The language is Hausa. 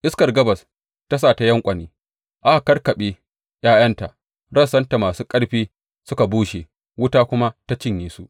Iskar gabas ta sa ta yanƙwane, aka kakkaɓe ’ya’yanta; rassanta masu ƙarfi suka bushe wuta kuma ta cinye su.